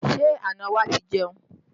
Ṣé àna wa ti jẹun?